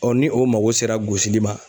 ni o mago sera gosili ma.